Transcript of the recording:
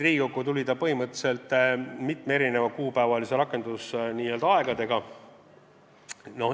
Riigikokku tuli ta põhimõtteliselt mitme erineva rakendusajaga.